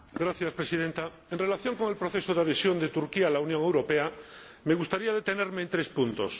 Señora Presidenta, en relación con el proceso de adhesión de Turquía a la Unión Europea me gustaría detenerme en tres puntos.